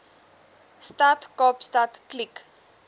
stad kaapstad kliek